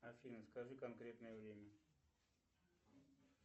афина скажи конкретное время